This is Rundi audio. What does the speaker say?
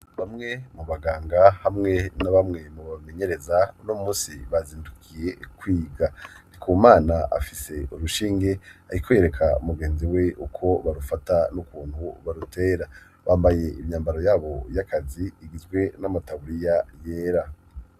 Bamwe mu baganga hamwe n'a bamwe mu bamenyereza uno munsi bazindukiye kwiga, Ndikumana afise urushinge ariko yereka umugenzi we uko barufata n'ukuntu barutera, bambaye imyambaro yabo y'akazi igizwe n'amataburiya yera.